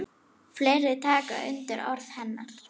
Fleiri taka undir orð hennar.